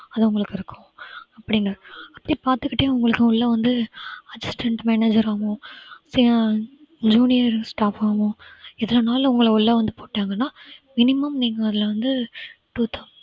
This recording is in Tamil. அது உங்களுக்கு இருக்கும் அப்பிடின்னு அப்படி பார்த்துக்கிட்டே உங்களுக்கு உள்ள வந்து assistant manager ஆவும் junior staff ஆவும் எதுலனாலும் உங்கள உள்ள வந்து போட்டாங்கன்னா minimum நீங்க அதுல வந்து four thou~